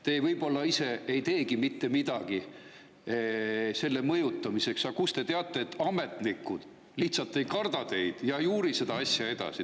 Teie võib-olla ise ei teegi mitte midagi selle mõjutamiseks, aga kust te teate, et ametnikud lihtsalt ei karda teid, ei uuri seda asja edasi?